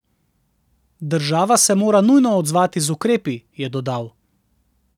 Država se mora nujno odzvati z ukrepi, je dodal.